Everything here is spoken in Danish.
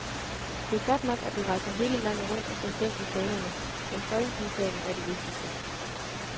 Det er godt nok, at du rejser hele landet rundt og slår søm i fanerne, men folketingssalen er det vigtigste.